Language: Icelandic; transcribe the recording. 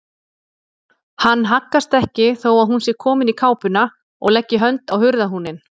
Hann haggast ekki þó að hún sé komin í kápuna og leggi hönd á hurðarhúninn.